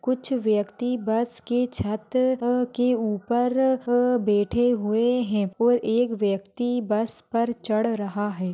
कुछ व्यक्ति बस की छत अ के ऊपर अ बैठे हुए हैं और एक व्यक्ति बस पर चढ़ रहा है।